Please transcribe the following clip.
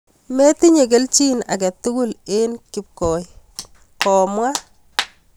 Metinyee kelchiin age tugul en koi...komwaa